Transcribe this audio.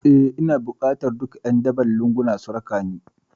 Eh ina bukatar duka ƴan daban lunguna su rakani